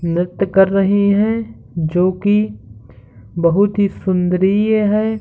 नृत्य कर रहे है जो कि बोहोत ही सुन्दरीय है।